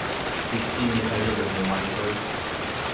кристине олеговне мальцевой